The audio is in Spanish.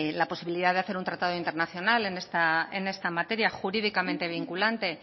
la posibilidad de hacer un tratado internacional en esta materia jurídicamente vinculante